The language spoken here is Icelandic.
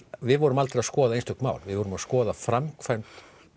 við vorum aldrei að skoða einstök mál við vorum að skoða framkvæmd